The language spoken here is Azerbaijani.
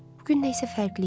Bu gün nəsə fərqli idi.